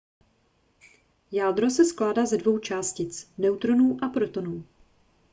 jádro se skládá ze dvou částic neutronů a protonů